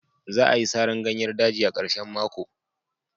Za'a yi saran ganyer daji, a karshen mako.